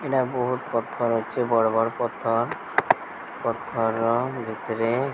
ଏଟା ବୋହୁତ୍ ପଥର ଅଛି ବଡ଼ ବଡ଼ ପଥର। ପଥର ଭିତରେ।